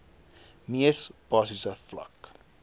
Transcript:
mees basiese vlak